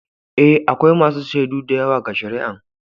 Eh, akwai masun shaidu da yawa ga shari'an.